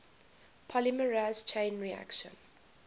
polymerase chain reaction